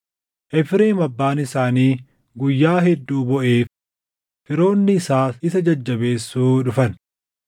Efreem abbaan isaanii guyyaa hedduu booʼeef; firoonni isaas isa jajjabeessuu dhufan.